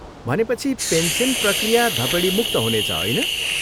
भनेपछि, पेन्सन प्रक्रिया धपेडीमुक्त हुनेछ, होइन?